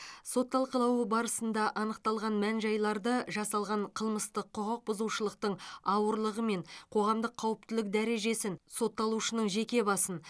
сот талқылауы барысында анықталған мән жайларды жасалған қылмыстық құқық бұзушылықтың ауырлығы мен қоғамдық қауіптілік дәрежесін сотталушының жеке басын